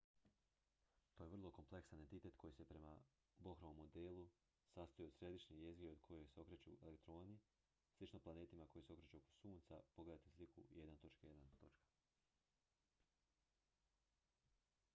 to je vrlo kompleksan entitet koji se prema bohrovom modelu sastoji od središnje jezgre oko koje se okreću elektroni slično planetima koji se okreću oko sunca pogledajte sliku 1.1